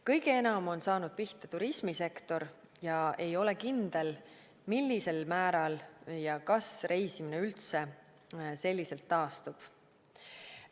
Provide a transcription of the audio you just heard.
Kõige enam on saanud pihta turismisektor ning ei ole kindel, millisel määral ja kas reisimine üldse selliselt taastub.